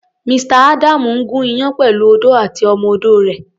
Mr.. Adamu ń gùn iyán pẹ̀lú odó àti ọmọ-odó rẹ̀.